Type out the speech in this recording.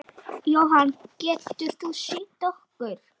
Jóhann: Getur þú sýnt okkur?